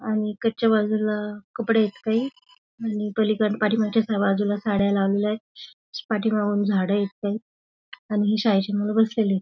आणि इकडच्या बाजूला कपडे आहेत काही आणि पलीकड पाठीमागच्या बाजूला साड्या लावलेल्या आहेत पाठीमागून झाड आहेत काही आणि ही शाळेची मुले बसलेली आहेत.